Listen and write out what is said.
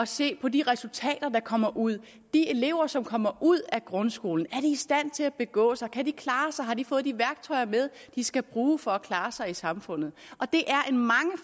se på de resultater der kommer ud de elever som kommer ud af grundskolen er de i stand til at begå sig kan de klare sig har de fået de værktøjer med de skal bruge for at klare sig i samfundet det